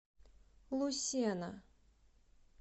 лусена